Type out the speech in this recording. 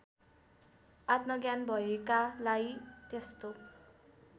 आत्मज्ञान भएकालाई त्यस्तो